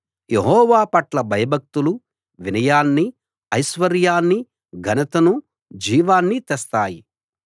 యెహోవా పట్ల భయభక్తులు వినయాన్ని ఐశ్వర్యాన్ని ఘనతను జీవాన్ని తెస్తాయి